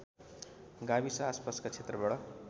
गाविस आसपासका क्षेत्रबाट